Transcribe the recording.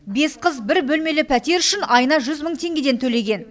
бес қыз бір бөлмелі пәтер үшін айына жүз мың теңгеден төлеген